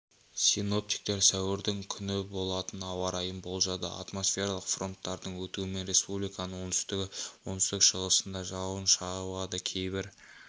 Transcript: синоптиктер сәуірдің күні болатын ауа райын болжады атмосфералық фронттардың өтуімен республиканың оңтүстігі оңтүстік-шығысында жауын жауады кейбір